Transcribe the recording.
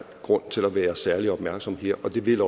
grund til at være særlig opmærksom her og det vil